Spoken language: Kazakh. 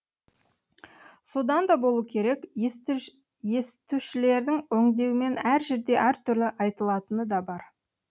содан да болу керек естушілердің өңдеуімен әр жерде әртүрлі айтылатыны да бар